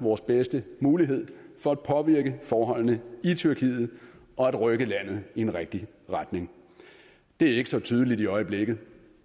vores bedste mulighed for at påvirke forholdene i tyrkiet og at rykke landet i en rigtig retning det er ikke så tydeligt i øjeblikket